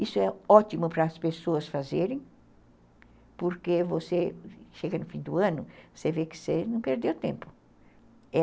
Isso é ótimo para as pessoas fazerem porque você chega no fim do ano, você vê que você não perdeu tempo.